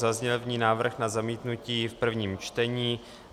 Zazněl v ní návrh na zamítnutí v prvním čtení.